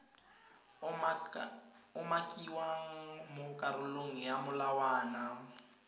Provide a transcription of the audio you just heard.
umakiwang mo karolong ya molawana